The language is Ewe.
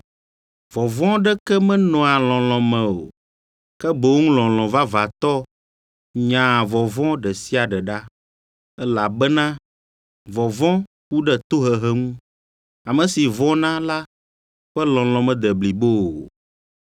Vɔ̃vɔ aɖeke menɔa lɔlɔ̃ me o, ke boŋ lɔlɔ̃ vavãtɔ nyaa vɔvɔ̃ ɖe sia ɖe ɖa. Elabena vɔvɔ̃ ku ɖe tohehe ŋu. Ame si vɔ̃na la ƒe lɔlɔ̃ mede blibo o.